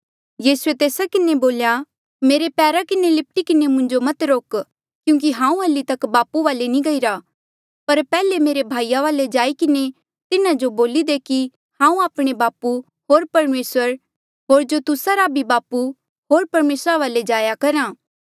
यीसूए तेस्सा किन्हें बोल्या मेरे पैरा किन्हें लिपटी किन्हें मुंजो मत रोक क्यूंकि हांऊँ हल्ली बापू वाले नी गईरा पर पैहले मेरे भाईया वाले जाई किन्हें तिन्हा जो बोली दे कि हांऊँ आपणे बापू होर परमेसर होर जो तुस्सा रा भी बापू होर परमेसरा वाले जाया करहा